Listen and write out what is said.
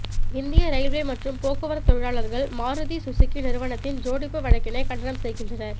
இந்திய இரயில்வே மற்றும் போக்குவரத்து தொழிலாளர்கள் மாருதி சுசூகி நிறுவனத்தின் ஜோடிப்பு வழக்கினை கண்டனம் செய்கின்றனர்